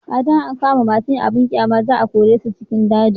a da in an kama masu yin abun ƙyama za a kore su cikin daji